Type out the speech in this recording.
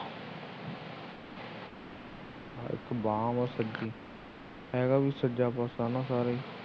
ਇੱਕ ਬਾਹ ਹੈ ਸੁੱਜੀ ਹੈਗਾ ਵੀ ਸੱਜਾ ਪਾਸਾ ਹੈ ਨਾ ਸਾਰਾ ਹੀ